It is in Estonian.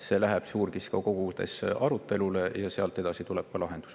See läheb suurkiskjate kogus arutelule ja sealt edasi tuleb ka lahendus.